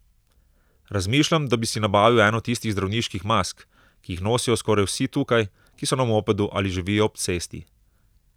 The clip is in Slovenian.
Razmišljam, da bi si nabavil eno tistih zdravniških mask, ki jih nosijo skoraj vsi tukaj, ki so na mopedu ali živijo ob cesti.